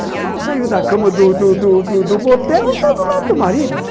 Ela mal saiu da cama do do do do motel, está do lado do marido.